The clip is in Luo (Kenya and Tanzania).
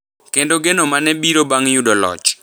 kendo geno ma ne biro bang’ yudo loch.